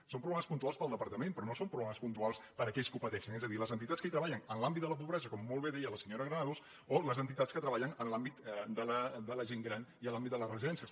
són pro blemes puntuals per al departament però no són proble·mes puntuals per a aquells que ho pateixen és a dir les entitats que treballen en l’àmbit de la pobresa com molt bé deia la senyora granados o les entitats que treballen en l’àmbit de la gent gran i en l’àmbit de les residències